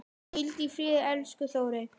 Hvíldu í friði, elsku Þórey.